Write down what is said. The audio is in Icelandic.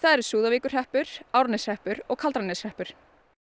eru Súðavíkurhreppur Árneshreppur og Kaldrananeshreppur